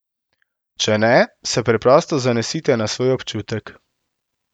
Če ne, se preprosto zanesite na svoj občutek.